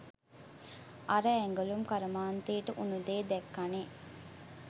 අර ඇඟලුම් කර්මාන්තයට උනු දේ දැක්කනේ.